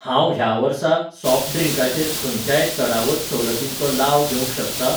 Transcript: हांव ह्या वर्सा सॉफ्ट ड्रिंकाचेर खंयच्याय चडावत सवलतींचो लाव घेवंक शकतां?